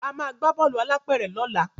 Ama gbà Bọ́ọ̀lù alápẹ̀rẹ̀ lọla.